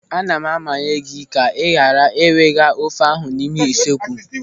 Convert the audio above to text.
"Ana m amanye gị ka ị ghara iwega ofe ahụ n'ime usekwu.